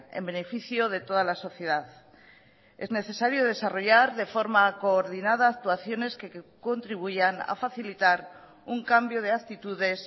en beneficio de toda la sociedad es necesario desarrollar de forma coordinada actuaciones que contribuyan a facilitar un cambio de actitudes